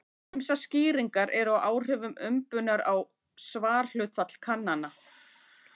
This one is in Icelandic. Ýmsar skýringar eru á áhrifum umbunar á svarhlutfall kannana.